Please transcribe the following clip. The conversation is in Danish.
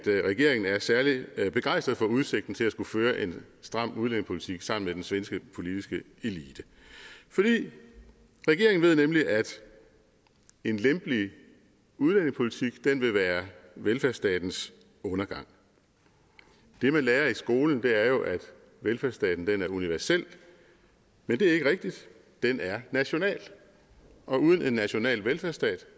regeringen er særlig begejstret for udsigten til at skulle føre en stram udlændingepolitik sammen med den svenske politiske elite regeringen ved nemlig at en lempelig udlændingepolitik vil være velfærdsstatens undergang det man lærer i skolen er jo at velfærdsstaten er universel men det er ikke rigtigt den er national og uden en national velfærdsstat